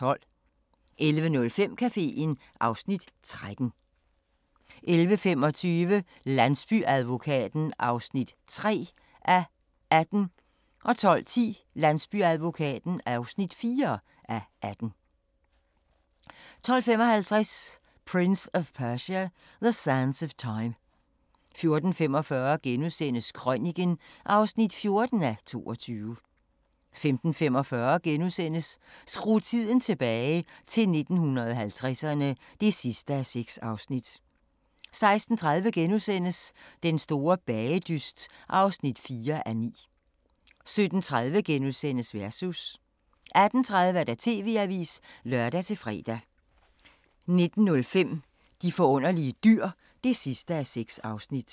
11:05: Caféen (Afs. 13) 11:25: Landsbyadvokaten (3:18) 12:10: Landsbyadvokaten (4:18) 12:55: Prince of Persia: The Sands of Time 14:45: Krøniken (14:22)* 15:45: Skru tiden tilbage – til 1950'erne (6:6)* 16:30: Den store bagedyst (4:9)* 17:30: Versus * 18:30: TV-avisen (lør-fre) 19:05: De forunderlige dyr (6:6)